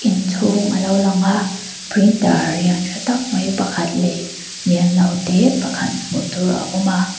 in chhung alo lang a printer lian thatak mai pakhat leh lian lo te pakhat hmuhtur a awm a.